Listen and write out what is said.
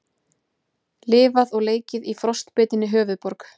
Lifað og leikið í frostbitinni höfuðborg